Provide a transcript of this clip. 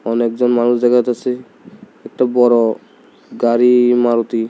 অনেকজন মানুষ দেখা যাইতাসে একটা বড় গাড়ি মারুতি ।